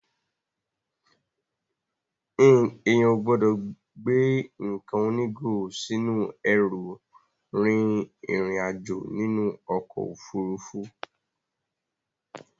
Èèyàn ò gbọ́dọ̀ gbé nǹkan onígò sínú ẹrù rin ìrìn àjò nínú ọkọ̀ Òfurufú.